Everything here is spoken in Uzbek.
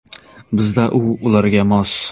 Bizda u ularga mos.